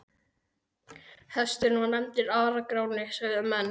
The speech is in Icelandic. Hesturinn var nefndur Ara-Gráni, sögðu menn.